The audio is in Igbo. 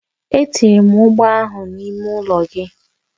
Etinyere m ọgbọ ahụ n'ime ụlọ gị